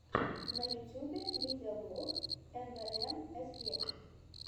на ютьюбе видеоблог эмвээмэсе